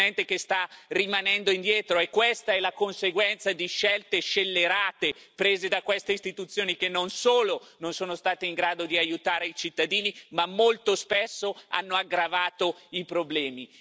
è un continente che sta rimanendo indietro e questa è la conseguenza di scelte scellerate prese da queste istituzioni, che non solo non sono state in grado di aiutare i cittadini, ma molto spesso hanno aggravato i problemi.